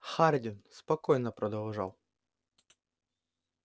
хардин спокойно продолжал